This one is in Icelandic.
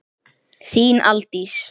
Þín, Aldís.